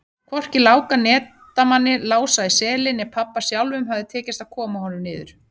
Hvorki Láka netamanni, Lása í Seli né pabba sjálfum hafði tekist að koma honum niður.